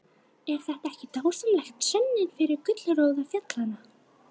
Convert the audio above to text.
Er þetta ekki dásamleg sönnun fyrir gullroða fjallanna?